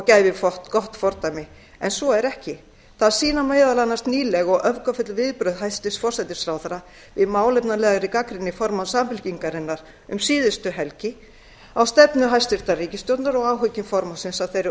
gæfi gott fordæmi en svo er ekki það sýna meðal annars nýleg og öfgafull viðbrögð hæstvirts forsætisráðherra við málefnalegri gagnrýni formanns samfylkingarinnar um síðustu helgi á stefnu hæstvirtrar ríkisstjórnar og áhyggjur formannsins af þeirri